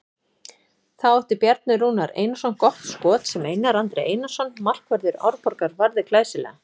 Þá átti Bjarni Rúnar Einarsson gott skot sem Einar Andri Einarsson markvörður Árborgar varði glæsilega.